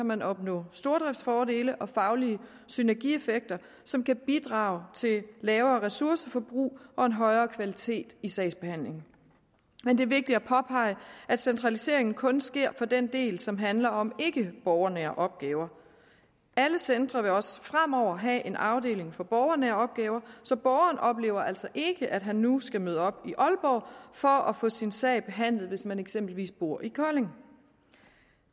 man opnå stordriftsfordele og faglige synergieffekter som kan bidrage til lavere ressourceforbrug og en højere kvalitet i sagsbehandlingen men det er vigtigt at påpege at centraliseringen kun sker på den del som handler om ikkeborgernære opgaver alle centre vil også fremover have en afdeling for borgernære opgaver så borgeren oplever altså ikke at han nu skal møde op i aalborg for at få sin sag behandlet hvis han eksempelvis bor i kolding